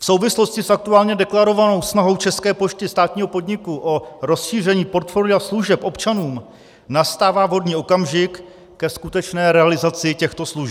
V souvislosti s aktuálně deklarovanou snahou České pošty, státního podniku, o rozšíření portfolia služeb občanům nastává vhodný okamžik ke skutečné realizaci těchto slibů.